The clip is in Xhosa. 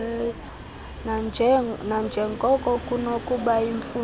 nanjengoko kunokuba yimfuneko